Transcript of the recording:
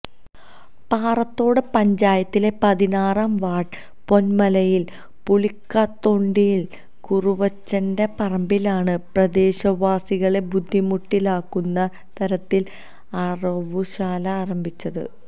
പാറത്തോട് പഞ്ചായത്തിലെ പതിനാറാം വാര്ഡ് പൊന്മലയില് പുളിക്കതൊണ്ടിയില് കുറുവച്ചന്റെ പറമ്പിലാണ് പ്രദേശവാസികളെ ബുദ്ധിമുട്ടിലാക്കുന്ന തരത്തില് അറവുശാല ആരംഭിച്ചത്